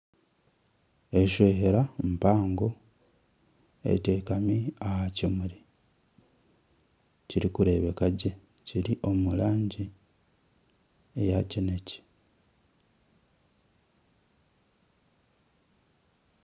Enshohera mpango eteekami aha kimuri kirikureebeka gye kiri omurangi eya kinekye.